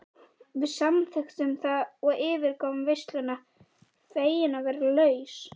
Við samþykktum það og yfirgáfum veisluna fegin að vera laus.